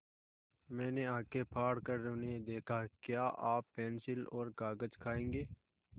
मैंने आँखें फाड़ कर उन्हें देखा क्या आप पेन्सिल और कागज़ खाएँगे